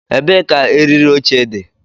Ebee ka eriri oche dị?